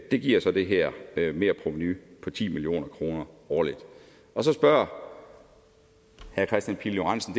det giver så det her merprovenu på ti million kroner årligt og så spørger herre kristian pihl lorentzen